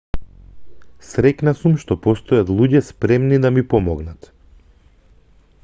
среќна сум што постојат луѓе спремни да ми помогнат